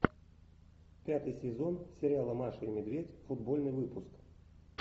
пятый сезон сериала маша и медведь футбольный выпуск